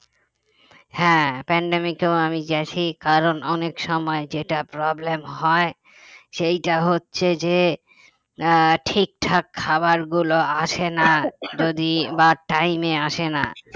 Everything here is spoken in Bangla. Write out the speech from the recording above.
হ্যাঁ pandemic কেও আমি গেছি কারণ অনেক সময় যেটা problem হয় সেটা হচ্ছে যে আহ ঠিকঠাক খাবারগুলো আসে না যদি বা time এ আসে না